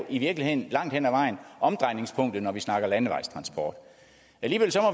i virkeligheden langt hen ad vejen er omdrejningspunktet når vi snakker landevejstransport alligevel